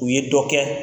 U ye dɔ kɛ